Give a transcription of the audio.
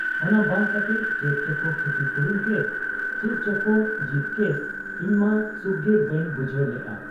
ᱚᱱᱟᱵᱟᱝ ᱠᱟᱛᱮ ᱪᱮᱫ ᱪᱚᱠᱚ ᱠᱷᱤᱛᱤᱯᱩᱨᱚᱱ ᱠᱮᱫ, ᱪᱮᱫ ᱪᱚᱠᱚ ᱡᱤᱛ ᱠᱮᱫ ᱤᱧᱢᱟ ᱥᱩᱠᱜᱮ ᱵᱟᱹᱧ ᱵᱩᱡᱷᱟᱹᱣ ᱞᱮᱜ ᱟ ᱾